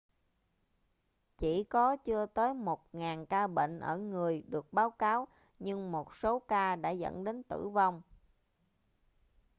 chỉ có chưa tới một ngàn ca bệnh ở người được báo cáo nhưng một số ca đã dẫn đến tử vong